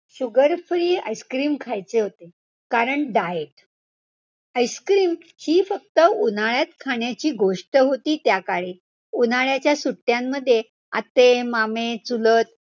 ok आणि harmonium बद्दल काय सांगू शकाल harmonium तुम्ही कधी वापरले phone वरती घरी.